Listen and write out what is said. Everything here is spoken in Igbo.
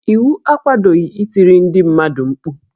Iwu akwadoghi itiri ndị mmadụ mkpu